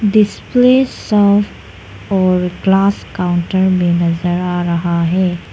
Displace of all glass counter में नजर आ रहा है।